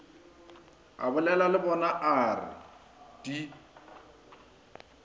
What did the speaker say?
abolela le bonaa re di